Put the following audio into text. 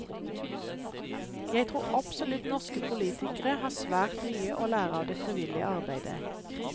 Jeg tror absolutt norske politikere har svært mye å lære av det frivillige arbeidet.